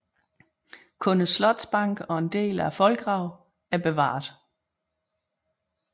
Kun slotsbanken og en del af voldgraven er bevaret